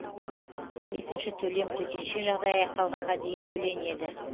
екінші төлем төтенше жағдай аяқталғанға дейін төленеді